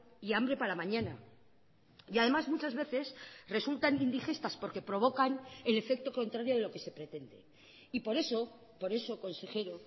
y hambre para mañana y además muchas veces resultan indigestas porque provocan el efecto contrario de lo que se pretende y por eso por eso consejero